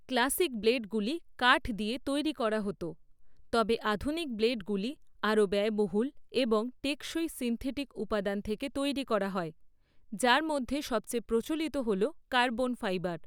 Classic ব্লেডগুলি কাঠ দিয়ে তৈরি করা হত, তবে আধুনিক ব্লেডগুলি আরও ব্যয়বহুল এবং টেকসই সিন্থেটিক উপাদান থেকে তৈরি করা হয়, যার মধ্যে সবচেয়ে প্রচলিত হল কার্বন ফাইবার।